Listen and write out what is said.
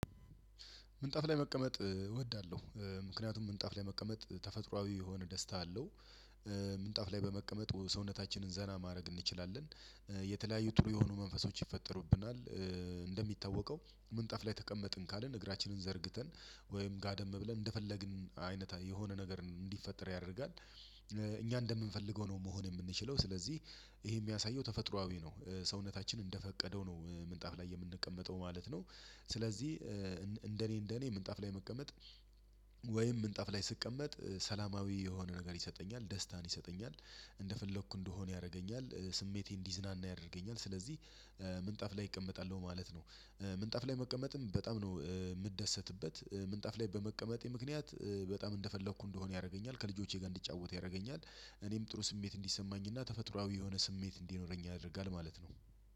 ምንጣፍ ላይ መቀመጥ እወዳለሁ ምክንያቱም ምንጣፍ ላይ መቀመጥ ተፈጥሮአዊ የሆነ ደስታ አለው። ምንጣፍ ላይ በመቀመጥ ሰውነታችንን ዘና ማረግ እንችላለን። የተለያዩ ጥሩ የሆኑ መንፈሶች ይፈጠሩብናል። እንደሚታወቀው ምንጣፍ ላይ ተቀመጥን ካልን እግራችንን ዘርግተን ወይም ጋደም ብለን እንደፈለግን አይነት የሆነ ነገር እንዲፈጠር ያደርጋል። እኛ እንደምንፈልገው ነው መሆን የምንችለው። ስለዚህ ይሄ የሚያሳየው ተፈጥሮአዊ ነው። ሰውነታችን እንደፈቀደው ነው ምንጣፍ ላይ የምንቀመጠው ማለት ነው። ስለዚህ እንደኔ እንደኔ ምንጣፍ ላይ መቀመጥ ወይም ምንጣፍ ላይ ስቀመጥ ሰላማዊ የሆነ ነገር ይሰጠኛል ደስታን ይሰጠኛል። እንደፈለኩ እንድሆን ያረገኛል ስሜቴን እንዲዝናና ያደርገኛል። ስለዚህ ምንጣፍ ላይ እቀመጣለሁ ማለት ነው። ምንጣፍ ላይ መቀመጥም በጣም ነው። ምደሰትበት ምንጣፍ ላይ በመቀመጤ ምክንያት በጣም እንደፈለኩ እንድሆን ያረገኛል ከልጆቼ ጋር እንድጫወት ያረገኛል። እኔም ጥሩ ስሜት እንዲሰማኝ እና ተፈጥሮአዊ የሆነ ስሜት እንዲኖረኝ ያደርአል ማለት ነው።